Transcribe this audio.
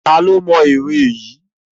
ta lo mó ere Yi?